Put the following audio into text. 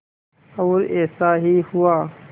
और ऐसा ही हुआ